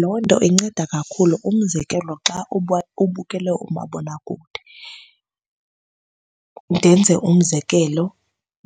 Loo nto inceda kakhulu umzekelo xa ubukela umabonakude. Ndenze umzekelo